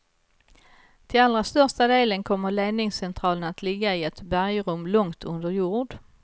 Till allra största delen kommer ledningscentralen att ligga i ett bergrum långt under jord.